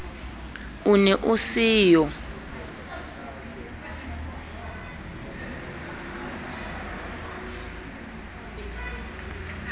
o ne o se yo